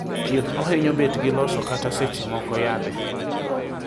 thieth ohinyo bet gi loso kata seche moko yadhe